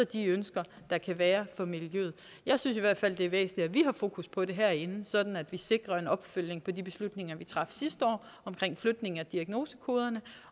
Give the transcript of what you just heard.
de ønsker der kan være fra miljøet jeg synes i hvert fald det er væsentligt at vi har fokus på det herinde sådan at vi sikrer en opfølgning på de beslutninger vi traf sidste år om flytningen af diagnosekoderne